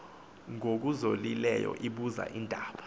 ngokuzolileyo ibuza iindaba